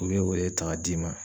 U be o de ta k'a d'i ma